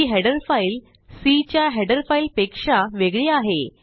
ही header file C च्या header फाईलपेक्षा वेगळी आहे